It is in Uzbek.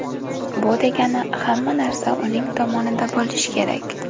Bu degani, hamma narsa uning tomonida bo‘lishi kerak.